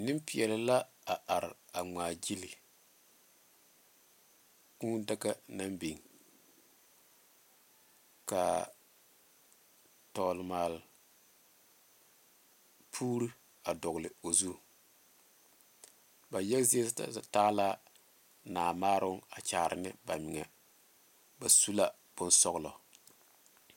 Nenpeɛle la a are ŋmaa gyile kūū daga naŋ biŋ kaa tɔgle maale puure a dogle o zu ba yaga zie taa la naamaaro a kyaare ne ba meŋa ba su la bonsɔglɔ.